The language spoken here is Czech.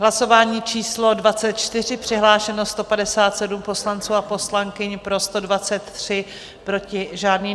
Hlasování číslo 24, přihlášeno 157 poslanců a poslankyň, pro 123, proti žádný.